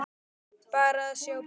Bara að sjá bílinn.